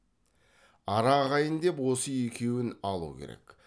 ара ағайын деп осы екеуін алу керек